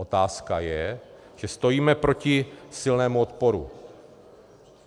Otázka je, že stojíme proti silnému odporu.